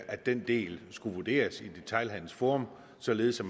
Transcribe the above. at den del skulle vurderes af detailhandelsforum således at